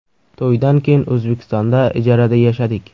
To‘ydan keyin O‘zbekistonda ijarada yashadik.